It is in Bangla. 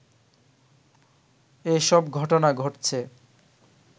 এসব ঘটনা ঘটছে